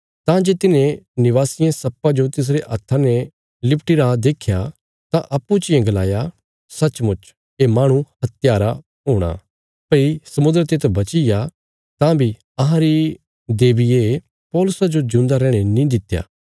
तां जे तिन्हें निवासियें सप्पा जो तिसरे हत्था ने लटकोई रा देख्या तां अप्पूँ चियें गलाया सचमुच ये माहणु हत्यारा हुँगा भई समुद्रा ते तां बची गया तां बी अहांरी देबिये पौलुसा जो ज्यूंदा रैहणे नीं दित्या